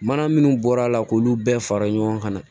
Mana minnu bɔra la k'olu bɛɛ fara ɲɔgɔn kan